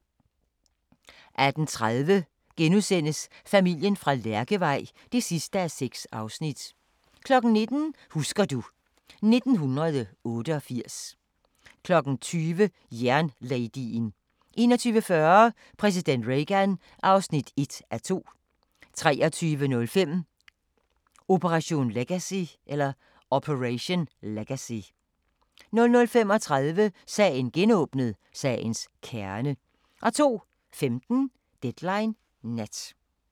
18:30: Familien fra Lærkevej (6:6)* 19:00: Husker du ... 1988 20:00: Jernladyen 21:40: Præsident Reagan (1:2) 23:05: Operation Legacy 00:35: Sagen genåbnet: Sagens kerne 02:15: Deadline Nat